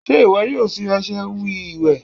se iwọ yoo fi ọṣẹ we ìwè?